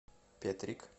петрик